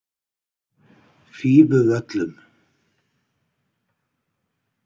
Fífuvöllum